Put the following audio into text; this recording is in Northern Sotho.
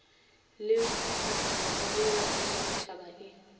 le mokgatlomogolo wa ditšhabatšhaba e